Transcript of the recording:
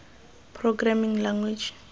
programming language